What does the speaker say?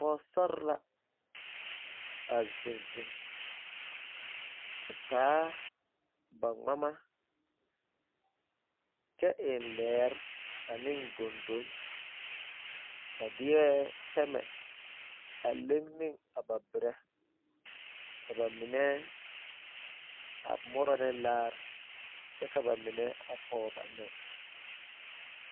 pɔgbili la ziŋ a taa gmama kyɛ eŋ lɛɛ ane goŋdonne. Ba de la pɛmɛ a leŋ ne ba berɛ kyɛ ka ba mine murɔ laare ka mine meŋ pɔg ba nɔɛ.